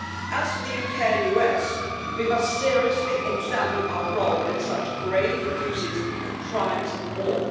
As for the UK and US, we must seriously examine our role in such grave abuses of crimes of war.